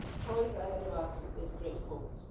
USA. The choice ahead of us is straightforward.